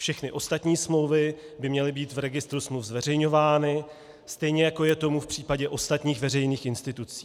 Všechny ostatní smlouvy by měly být v registru smluv zveřejňovány, stejně jako je tomu v případě ostatních veřejných institucí.